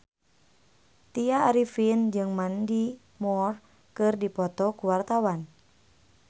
Tya Arifin jeung Mandy Moore keur dipoto ku wartawan